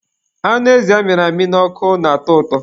Anụ ezi amịrị n'ọkụ na-atọ ụtọ.